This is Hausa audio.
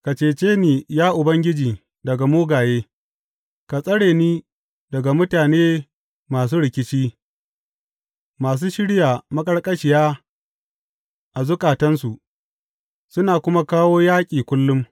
Ka cece ni, ya Ubangiji, daga mugaye; ka tsare ni daga mutane masu rikici, masu shirya maƙarƙashiya a zukatansu suna kuma kawo yaƙi kullum.